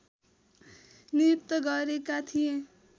नियुक्त गरेका थिए